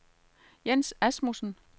Jens Asmussen